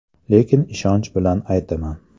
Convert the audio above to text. Lekin ishonch bilan aytaman.